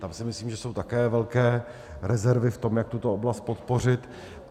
Tam si myslím, že jsou také velké rezervy v tom, jak tuto oblast podpořit.